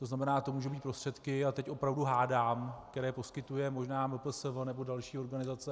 To znamená, to můžou být prostředky, a teď opravdu hádám, které poskytuje možná MPSV nebo další organizace.